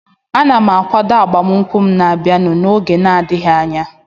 Ana m akwado agbamakwụkwọ m na-abịanụ n'oge na-adịghị anya